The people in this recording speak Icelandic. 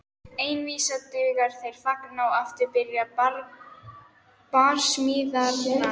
Ein vísa dugir, þeir þagna og aftur byrja barsmíðarnar.